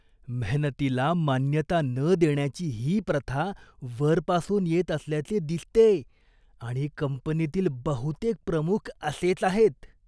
मेहनतीला मान्यता न देण्याची ही प्रथा वरपासून येत असल्याचे दिसतेय आणि कंपनीतील बहुतेक प्रमुख असेच आहेत.